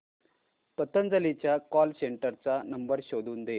पतंजली च्या call centre चा number शोधून दे